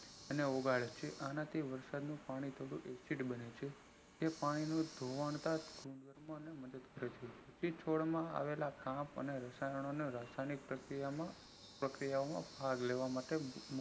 અને ઓગાળે છે આના થી વરસાદ નું પાણી થોડું acid બને છે તે પાણી નું ધોવાણ થી જે તાજ મદદ કરે છે એ છોડમાં આવેલા રાસાયણિક પ્રક્રિયામાં ભાગ લેવા માટે